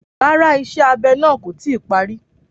Rárá, Iṣẹ abe náà ko ti parí.